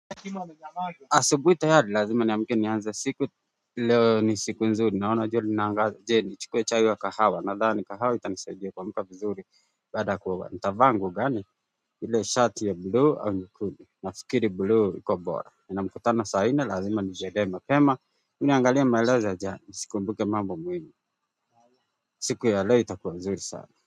Asubuhi tayari lazima niamke nianze siku leo ni siku nzuri naona jua linaangaza je nichukue chai wa kahawa nadhani kahawa itanisaidia kuamka vizuri baada ya kuoga nitavaa nguo gani hile ya shati ya bluu au nyekundu nafikiri bluu iko bora nina mkutano saa nne lazima nijiandae mapema ebu niangalie maelezo ya jana nisikumbuke mambo muhimu siku ya leo itakuwa nzuri sana.